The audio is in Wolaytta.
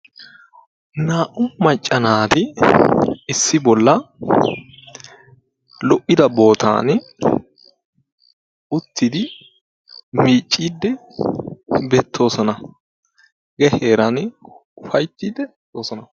Naa"u macca naati issi bolla lo"ida bootan uttidi miiccidi beettoosona. he heeraani ufayttiide doosona.